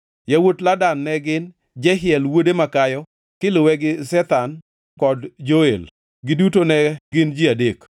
Yawuot Ladan ne gin: Jehiel wuode makayo, kiluwe gi Zetham kod Joel, giduto ne gin ji adek.